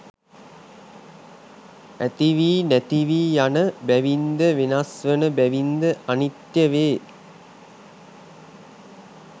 ඇතිවී නැතිවී යන බැවින්ද වෙනස් වන බැවින්ද අනිත්‍ය වේ.